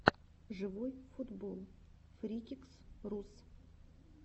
живой футбол фрикикс рус